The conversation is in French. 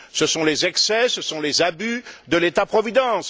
Ce sont les excès, ce sont les abus de l'État providence.